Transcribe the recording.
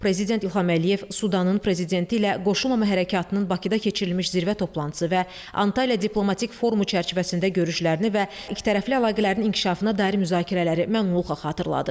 Prezident İlham Əliyev Sudanın prezidenti ilə Qoşulmama Hərəkatının Bakıda keçirilmiş zirvə toplantısı və Antalya diplomatik forumu çərçivəsində görüşlərini və ikitərəfli əlaqələrin inkişafına dair müzakirələri məmnunluqla xatırladı.